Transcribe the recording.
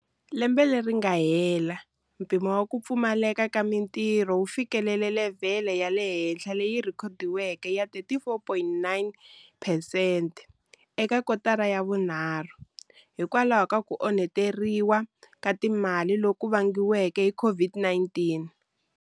Lembe leri nga hela, mpimo wa ku pfumaleka ka mitirho wu fikelele levhele ya le henhlahenhla leyi rhekhodiweke ya 34,9 phesente eka kotara ya vunharhu, hikwalaho ka ku onheteriwa ka timali loku vangiweke hi COVID-19.